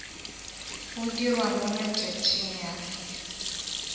go dirwa mo matšatšing a